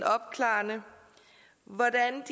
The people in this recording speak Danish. opklarende hvordan